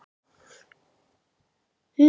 Náman er nú aflögð.